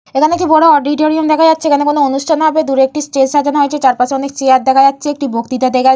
এখানে একটি বড় অডিটরিয়াম দেখা যাচ্ছে এখানে কোন অনুষ্ঠান হবে দূরে একটি স্টেজ সাজানো হয়েছে। চারপাশে অনেক চেয়ার দেখা যাচ্ছে একটি বক্তিতা--